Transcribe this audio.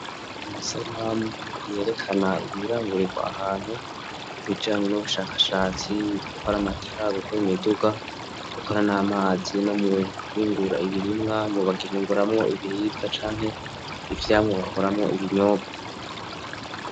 Amasanamu iyerekana birangurirwa ahantu ubijanye n'ubushakashatsi gukora amatara gukora imiduga gukora n'amazi no muwingura ibirimwa mu bagihinguramwo ibiribwa canke ivyamwa gakoramwo ibinyobwe.